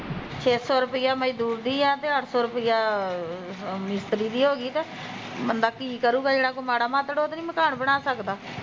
ਛੇ ਸੋ ਰੁਪਿਆ ਮਜ਼ਦੂਰ ਦੀ ਆ ਤੇ ਅੱਠ ਸੋ ਰੁਪਿਆ ਉਹਦੀ ਆ ਮਿਸਤਰੀ ਦੀ ਹੋਗੀ ਤੇ ਬੰਦਾ ਕੀ ਕਰੁਗਾ ਜਿਹੜਾ ਕੋਈ ਮਾੜਾ ਮਤੜ ਉਹ ਤੇ ਨੀ ਮਕਾਨ ਬਣਾ ਸਕਦਾ